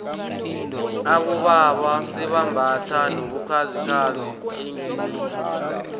abobaba sebambatha nobukhazikhazi eendlebeni